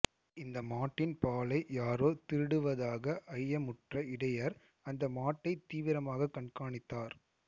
இந்த மாட்டின் பாலை யாரோ திருடுவதாக ஐயமுற்ற இடையர் அந்த மாட்டை தீவிரமாக கண்காணித்தார்